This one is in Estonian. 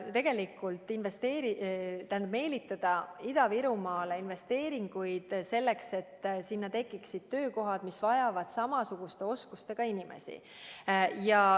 Tegelikult me soovime meelitada Ida-Virumaale investeeringuid, selleks et sinna tekiksid töökohad, mis vajavad samasuguste oskustega inimesi.